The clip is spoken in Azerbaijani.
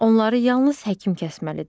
Onları yalnız həkim kəsməlidir.